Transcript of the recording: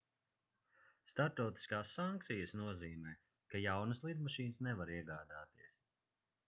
starptautiskās sankcijas nozīmē ka jaunas lidmašīnas nevar iegādāties